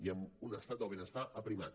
i amb un estat del benestar aprimat